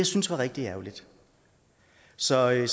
synes var rigtig ærgerligt så jeg